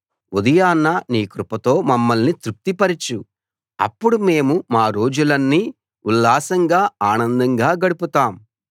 ఉదయాన నీ కృపతో మమ్మల్ని తృప్తిపరచు అప్పుడు మేము మా రోజులన్నీ ఉల్లాసంగా ఆనందంగా గడుపుతాం